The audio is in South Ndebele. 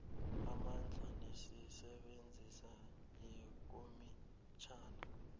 amandla nemisebenzi yekomitjhana